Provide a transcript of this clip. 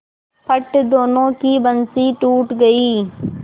फट दोनों की बंसीे टूट गयीं